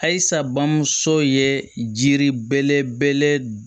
Halisa bamuso ye jiri belebele